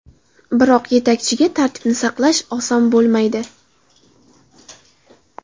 Biroq yetakchiga tartibni saqlash oson bo‘lmaydi.